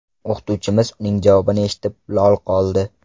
O‘qituvchimiz uning javobini eshitib, lol qoldi.